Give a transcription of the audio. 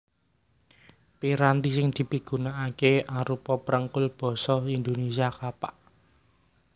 Piranti sing dipigunakaké arupa prekul basa Indonésia Kapak